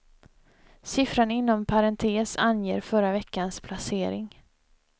Siffran inom parentes anger förra veckans placering.